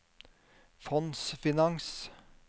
fondsfinans